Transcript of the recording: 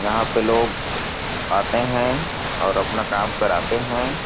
यहां पर लोग आते हैं और अपना काम कराते हैं।